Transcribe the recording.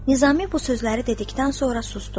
Nizami bu sözləri dedikdən sonra susdu.